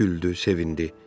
Güldü, sevindi.